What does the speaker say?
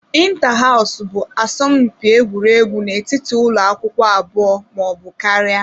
Inta hows bụ asọmpi egwuregwu n'etiti ụlọ akwụkwọ abụọ ma ọ bụ karịa.